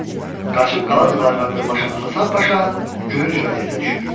Qaçıb qala divarına dırmaşan Həsən Paşa gülünc vəziyyətə düşür.